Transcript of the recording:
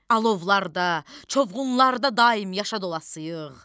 Alovlarda, çovğunlarda daim yaşadılasıyıq.